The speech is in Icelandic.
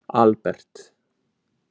Albert